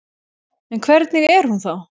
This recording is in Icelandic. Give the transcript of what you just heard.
En hvernig er hún þá?